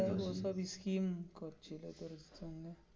ওঠারই scheme করছিলো ওটাই জন্য.